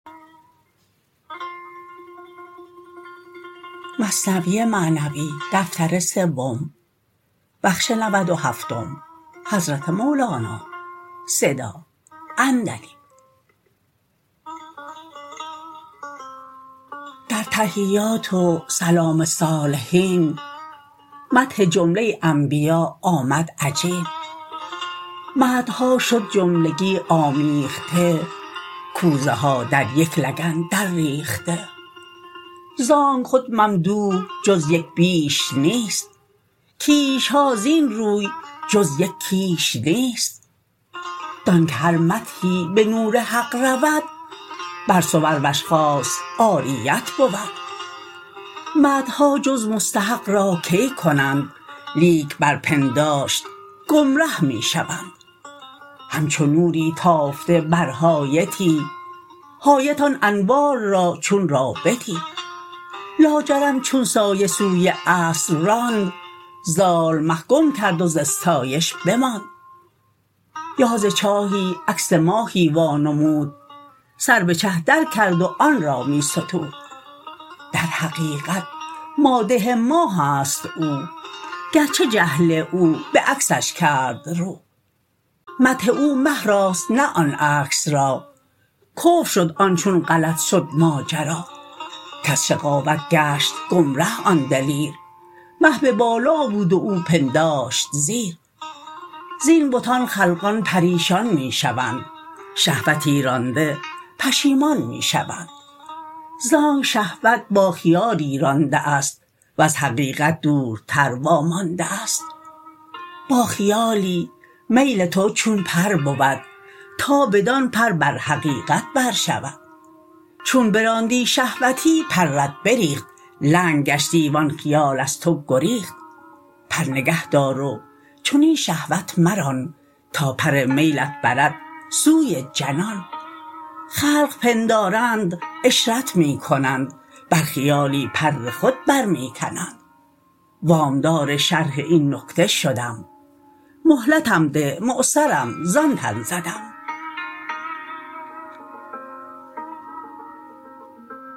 در تحیات و سلام الصالحین مدح جمله انبیا آمد عجین مدحها شد جملگی آمیخته کوزه ها در یک لگن در ریخته زانک خود ممدوح جز یک بیش نیست کیشها زین روی جز یک کیش نیست دان که هر مدحی به نور حق رود بر صور و اشخاص عاریت بود مدحها جز مستحق را کی کنند لیک بر پنداشت گم ره می شوند همچو نوری تافته بر حایطی حایط آن انوار را چون رابطی لاجرم چون سایه سوی اصل راند ضال مه گم کرد و ز استایش بماند یا ز چاهی عکس ماهی وا نمود سر به چه در کرد و آن را می ستود در حقیقت مادح ماهست او گرچه جهل او بعکسش کرد رو مدح او مه راست نه آن عکس را کفر شد آن چون غلط شد ماجرا کز شقاوت گشت گم ره آن دلیر مه به بالا بود و او پنداشت زیر زین بتان خلقان پریشان می شوند شهوت رانده پشیمان می شوند زآنک شهوت با خیالی رانده است وز حقیقت دورتر وا مانده است با خیالی میل تو چون پر بود تا بدان پر بر حقیقت بر شود چون براندی شهوتی پرت بریخت لنگ گشتی و آن خیال از تو گریخت پر نگه دار و چنین شهوت مران تا پر میلت برد سوی جنان خلق پندارند عشرت می کنند بر خیالی پر خود بر می کنند وام دار شرح این نکته شدم مهلتم ده معسرم زان تن زدم